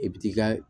I bi t'i ka